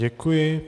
Děkuji.